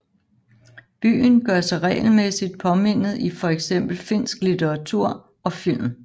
Byen gør sig regelmæssigt påmindet i for eksempel finsk litteratur og film